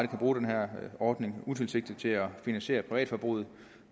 kan bruge den her ordning utilsigtet til at finansiere privatforbruget